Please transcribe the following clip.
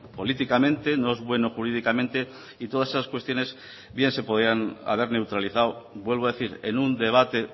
políticamente no es bueno jurídicamente y todas esas cuestiones bien se podían haber neutralizado vuelvo a decir en un debate